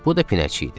Bu da pinəçi idi.